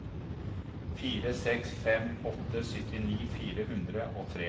fire seks fem åtte syttini fire hundre og tre